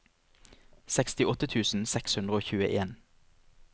sekstiåtte tusen seks hundre og tjueen